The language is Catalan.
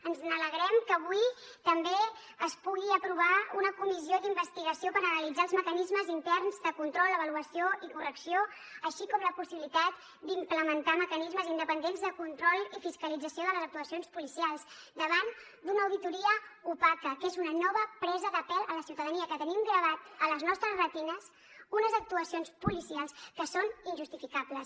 ens alegrem que avui també es pugui aprovar una comissió d’investigació per analitzar els mecanismes interns de control avaluació i correcció així com la possibilitat d’implementar mecanismes independents de control i fiscalització de les actuacions policials davant d’una auditoria opaca que és una nova presa de pèl a la ciutadania que tenim gravades a les nostres retines unes actuacions policials que són injustificables